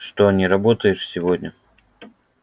что не работаешь сегодня